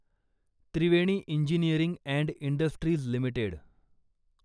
Triveni engineering and industries limited